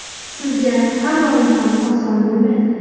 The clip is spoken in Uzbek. Sizga har doim ham oson bo‘lmaydi.